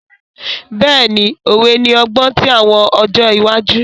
Bẹ́ẹ̀ni, Òwe ni ọgbọn ti awọn ọjọ iwaju.